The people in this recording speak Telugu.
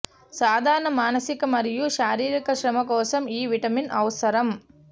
సాధారణ మానసిక మరియు శారీరక శ్రమ కోసం ఈ విటమిన్ అవసరం